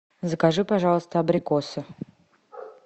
закажи пожалуйста абрикосы